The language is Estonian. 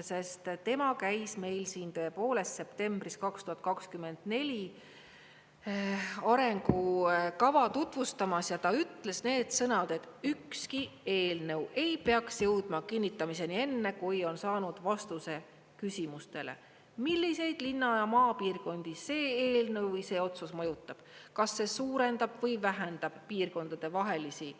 Sest tema käis meil siin tõepoolest septembris 2024 arengukava tutvustamas ja ta ütles need sõnad, et ükski eelnõu ei peaks jõudma kinnitamiseni enne, kui on saanud vastuse küsimustele, milliseid linna- ja maapiirkondi see eelnõu või see otsus mõjutab, kas see suurendab või vähendab piirkondade vahelisi